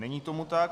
Není tomu tak.